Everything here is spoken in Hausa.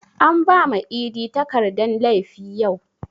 An bama idi takardan laifi yau